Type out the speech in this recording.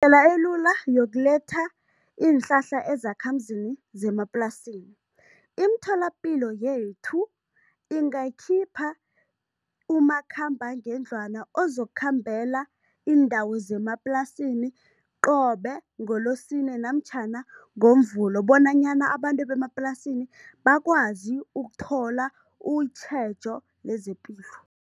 elula yokuletha iinhlahla ezakhamuzini zemaplasini, imitholapilo yethu ingakhipha umakhambangendlwana ozokukhambela iindawo zemaplasini qobe ngoLosine namtjhana ngoMvulo bonanyana abantu bemaplasini bakwazi ukuthola utjhejo lezepilo.